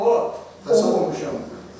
Mən Allahdan qorxmamışam.